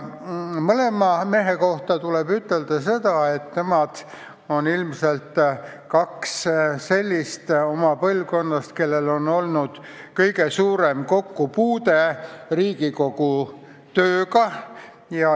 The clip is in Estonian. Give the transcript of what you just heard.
Mõlema mehe kohta tuleb ütelda seda, et nemad on ilmselt kaks sellist oma põlvkonnast, kellel on olnud kõige suurem kokkupuude Riigikogu tööga.